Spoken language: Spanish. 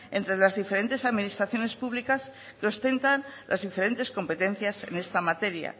entre las diferentes administraciones públicas que ostentan las diferentes competencias en esta materia